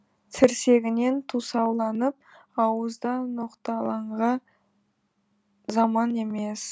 тірсегінен тусауланып ауызда ноқталан заман емес